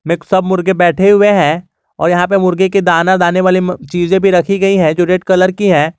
में सब मुर्गे बैठे हुए हैं और यहां पे मुर्गी के दाना दाने वाली चीजें भी रखी गई है जो रेड कलर की है।